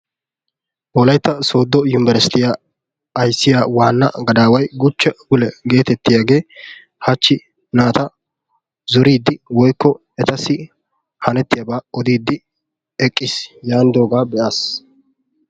wollaytta soddo uniberstiyaa ayssiyaa waanna gadaway Guchche gulle getetiyaagee hachchi naata zooriidi woykko etassi hannetiyaaba ooddidi eqqiis yaanidoogaa be'aas.